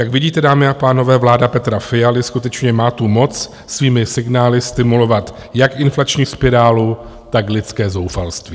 Jak vidíte, dámy a pánové, vláda Petra Fialy skutečně má tu moc svými signály stimulovat jak inflační spirálu, tak lidské zoufalství.